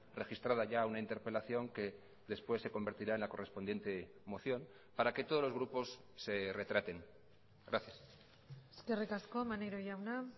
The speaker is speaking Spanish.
registrada ya una interpelación que después se convertirá en la correspondiente moción para que todos los grupos se retraten gracias eskerrik asko maneiro jauna